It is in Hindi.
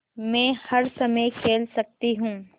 मै हर समय खेल सकती हूँ